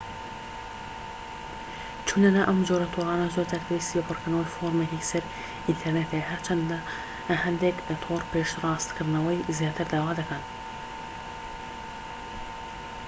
چونە ناو ئەم جۆرە تۆڕانە زۆرجار پێویستی بە پڕکردنەوەی فۆڕمێکی سەر ئینتەرنێت هەیە هەرچەندە هەندێك تۆڕ پشتڕاستکردنەوەی زیاتر داوا دەکەن